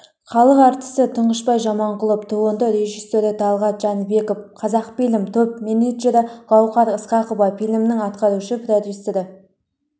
халық әртісі тұңғышбай жаманқұлов туынды режиссері талғат жәнібеков қазақфильм топ-менеджері гаухар ысқақова фильмнің атқарушы продюсері